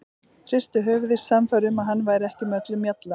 Hristi höfuðið, sannfærð um að hann væri ekki með öllum mjalla.